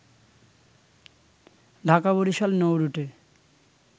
Dhaka-Barishal নৌরুটে